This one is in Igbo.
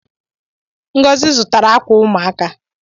Ngozi zutara akwa ụmụaka